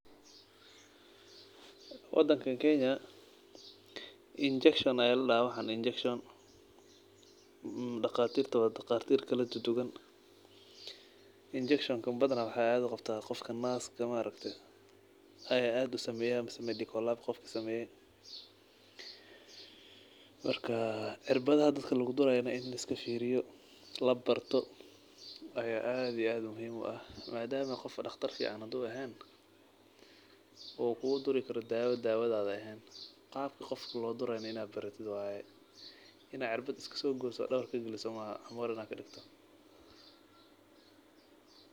Wadankan Kenya injection ayaa ladaha waxan injection, daqatirta wa daqatir kaladuduwan, injection-ka badhana waxaa ad uqabtah dadka naska eh maaragte ayaa ad usameyaah mise medical lab qofki sameyoh. Marka cirbadaha dadka lugudarayo in liskafiriyo waye , labarto ad iyo ad muhim utahay , madama qofka daqtarka fican ehen kuguduri karo dawo an dawadi ehen, in aa cirbad iskasogoso dawatrka kagaliso maaha camor kadigto.